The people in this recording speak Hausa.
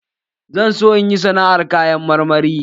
Zan so in yi sana'ar kayan marmari